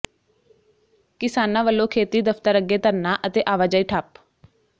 ਕਿਸਾਨਾਂ ਵੱਲੋਂ ਖੇਤੀ ਦਫਤਰ ਅੱਗੇ ਧਰਨਾ ਅਤੇ ਆਵਾਜਾਈ ਠੱਪ